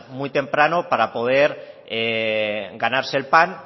muy temprano para poder ganarse el pan